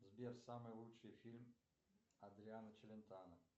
сбер самый лучший фильм адриано челентано